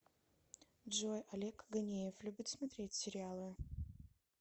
джой олег ганеев любит смотреть сериалы